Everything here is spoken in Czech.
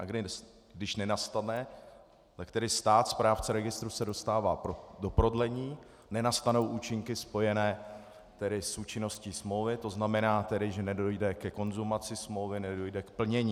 A když nenastane, tak tedy stát, správce registru, se dostává do prodlení, nenastanou účinky spojené tedy s účinností smlouvy, to znamená tedy, že nedojde ke konzumaci smlouvy, nedojde k plnění.